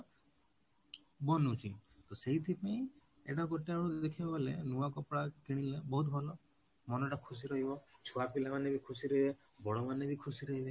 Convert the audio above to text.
ବନୁଛି ତ ସେଇଥି ପାଇଁ ଏଟା ଗୋଟେ ଆଡୁ ଦେଖିବାକୁ ଗଲେ ନୂଆ କପଡା କିଣିଲା ବହୁତ ଭଲ ମନ ଟା ଖୁସି ରହିବ ଛୁଆ ପିଲା ମାନେ ବି ଖୁସିରେ ରହିବେ ବଡ଼ ମାନେ ବି ଖୁସିରେ ରହିବେ